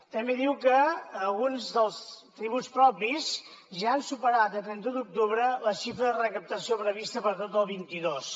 també diu que alguns dels tributs propis ja han superat a trenta un d’octubre la xifra de recaptació prevista per a tot el vint dos